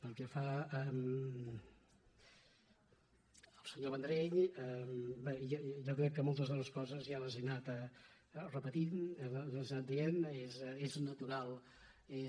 pel que fa al senyor vendrell bé jo crec que moltes de les coses ja les he anat repetint les he anat dient